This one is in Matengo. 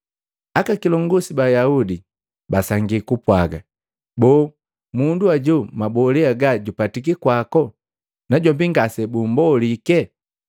Aka kilongosi ba Ayaudi basangi bapwaaga, “Boo mundu ajo mabole haga jupatiki kwako najombi ngase bumbolike?”